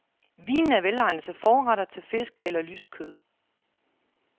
Vinen er velegnet til forretter, til fisk eller lyst kød.